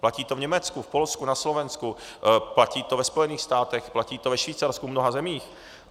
Platí to v Německu, v Polsku, na Slovensku, platí to ve Spojených státech, platí to ve Švýcarsku, v mnoha zemích.